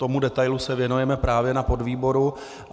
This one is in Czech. Tomu detailu se věnujeme právě na podvýboru.